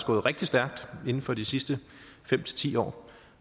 gået rigtig stærkt inden for de sidste fem til ti år